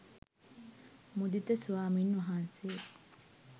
මුදිත ස්වාමින් වහන්සේ